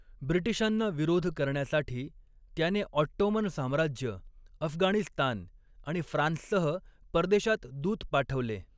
ब्रिटिशांना विरोध करण्यासाठी त्याने ऑट्टोमन साम्राज्य, अफगाणिस्तान आणि फ्रान्ससह परदेशात दूत पाठवले.